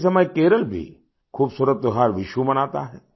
इसी समय केरल भी खूबसूरत त्योहार विशु मनाता है